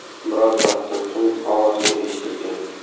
Biroz vaqtdan so‘ng, ovoz yana eshitilgan.